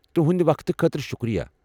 تُہٕنٛد وقتہٕ خٲطرٕ شکریہ۔